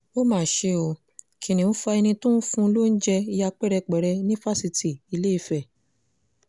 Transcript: ó mà ṣe o kìnnìún fa ẹni tó ń fún un lóúnjẹ ya pẹ́rẹpẹ̀rẹ ní fásitì ìlééfẹ̀